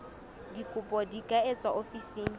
dikopo di ka etswa ofising